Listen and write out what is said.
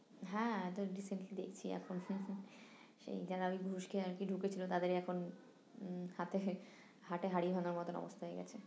হ্যাঁ এত recently দেখছি এখন সেই যারা ওই ঘুষ দিয়ে আরকি ঢুকেছিলো তাদেরই এখন উম হাটে হাটে হাড়ি ভাঙার মতন অবস্থা হয়ে গেছে